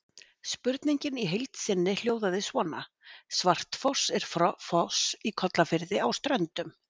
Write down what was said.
Spurningin í heild sinni hljóðaði svona: Svartfoss er foss í Kollafirði á Ströndum.